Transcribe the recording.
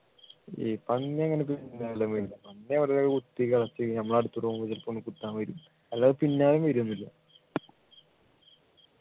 ഈ പന്നി അങ്ങനെ പന്നി വെറുതെ കുത്തി കളിച്ചു നമ്മൾ അടുത്തുകൂടെ പോകുമ്പോ ചിലപ്പോ ഒന്നിങ്ങനെ കുത്താൻ വരും അല്ലാതെ അത് പിന്നാലെ വരും എന്നിട്ട്